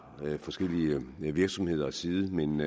forskellige virksomheders side men